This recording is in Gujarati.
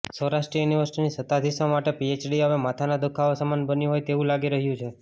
સૌરાષ્ટ્ર યુનિવર્સિટીનાં સતાધીશો માટે પીએચડી હવે માથાના દુખાવા સમાન બન્યું હોય તેવું લાગી રહ્યું છે